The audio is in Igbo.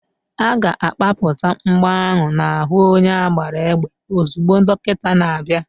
A ga-akpapụta mgbọ ahụ n'ahu onye agbara égbè ozugbo dọkịta na-abịa.